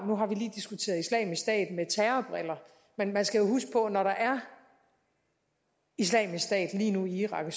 nu har vi lige diskuteret islamisk stat med terrorbriller men man skal huske på at når der er islamisk stat lige nu i irak og